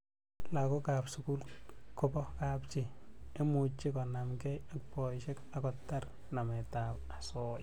lagok ab sukul kobo kapchii imuchii konamkei ak poishek ako tar namet ab asoya